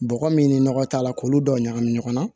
Bɔgɔ min ni nɔgɔ t'a la k'olu dɔw ɲagami ɲɔgɔn na